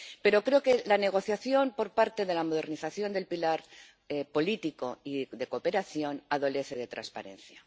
Pero creo que la negociación por parte de la modernización del pilar político y de cooperación adolece de transparencia.